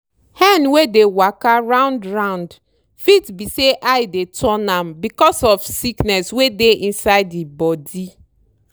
hen wey dey waka round round fit be say eye dey turn am becos of sickness wey dey inside e body.